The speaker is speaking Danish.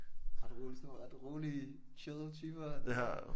Ret rolig sådan ret rolige chill typer